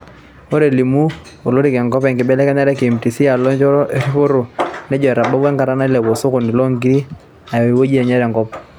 Ore elimu olirik enkop enkibelekenya e KMC alo enchoto eripoto nejoo etabawua enkata nailepu oskoni loo nkiri aya ewueji enye te nkop